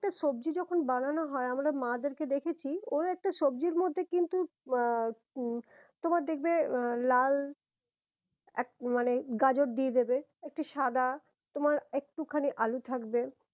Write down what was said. সবজি যখন বানানো হয়ে আমরা মা দেরকে দেখেছি ওর একটা সবজির মধ্যে কিন্তু আহ উহ তোমার দেখবে আহ লাল এক মানে গাজর দিয়ে দেবে একটু সাদা তোমার একটু খানি আলু থাকবে